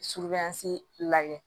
Subansi lagɛ